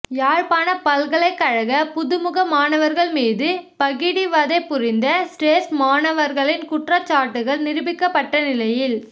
யாழ்ப்பாணப் பல்கலைக்கழக புதுமுக மாணவர்கள் மீது பகிடி வதை புரிந்த சிரேஸ்ட மாணவர்களின் குற்றச்நாட்டுகள் நிரூபிக்கப்பட்ட நிலையில்